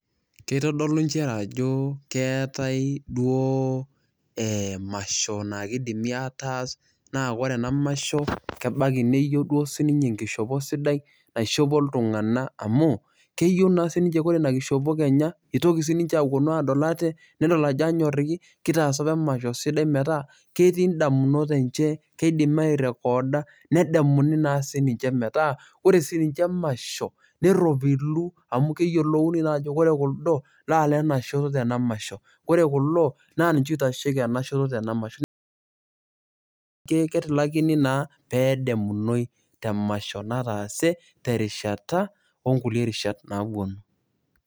Kitodolu njere ajo keetae duo emasho na kidimi ataas, na ore enamasho kebaki neyieu duo sininye enkishopo sidai, naishopo iltung'anak amu, keyieu na sininche kore inakishopo kenya, itoki sininche aponu adol ate, nidol ajo anyorriki, kitaasa apa emasho sidai metaa, ketii idamunot enche, keidim airekoda, nedamuni na sininche metaa, ore sinche emasho, nerropilu amu keyiolouni naa ajo kore kuldo, na lenashoto tena masho. Kore kulo, na ninche oitasheki enashoto tena masho. Ketilakini naa pedamunoi temasho nataase, terishata onkulie rishat naponu.